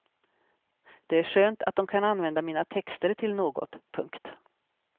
Det är skönt att de kan använda mina texter till något. punkt